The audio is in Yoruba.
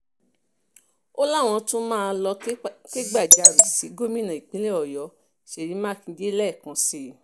ó láwọn tún máa lọ́ọ́ kẹ́gbàjarè sí gómìnà ìpínlẹ̀ ọ̀yọ́ ṣèyí mákindè lẹ́ẹ̀kan sí i